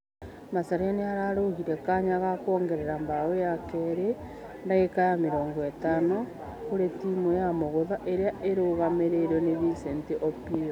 Macharia nĩararũgeore kanya ga kũongerera bao ya kerĩ dagika ya mĩrongo ĩtano kũrĩ timũ ya mũgutha ĩria ĩrũgamĩrĩirwo nĩ vincent opiyo.